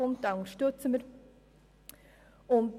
Wir unterstützen diesen Antrag.